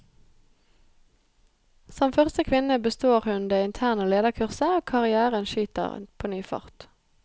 Som første kvinne består hun det interne lederkurset, og karrièren skyter på ny fart.